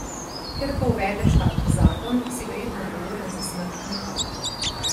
Ker ko uvedeš tak zakon, si verjetno odgovoren za smrt nekoga.